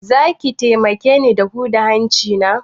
Zaki taimake ni da huda mun hanci na?